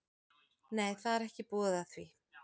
Nei, það er ekki búið að því.